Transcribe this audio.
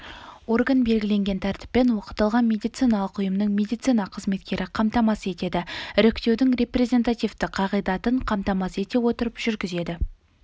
орган белгілеген тәртіппен оқытылған медициналық ұйымның медицина қызметкері қамтамасыз етеді іріктеудің репрезентативті қағидатын қамтамасыз ете отырып жүргізеді